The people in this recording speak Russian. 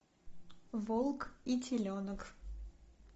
волк и теленок